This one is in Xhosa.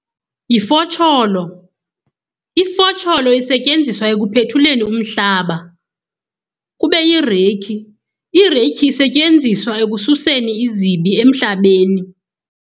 Yifotsholo, ifotsholo isetyenziswa ekuphethuleni umhlaba. Kube yireyikhi, ireyikhi isetyenziswa ekususeni izibi emhlabeni.